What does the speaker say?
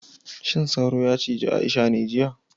Shin sauro yacije Aisha ne jiya